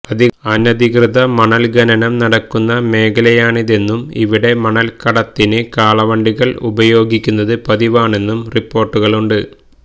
അനധികൃത മണല് ഖനനം നടക്കുന്ന മേഖലയാണിതെന്നും ഇവിടെ മണല് കടത്തിന് കാളവണ്ടികള് ഉപയോഗിക്കുന്നത് പതിവാണെന്നും റിപ്പോര്ട്ടുകളുണ്ട്